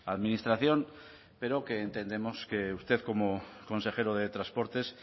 administración pero que entendemos que usted como consejero de transportes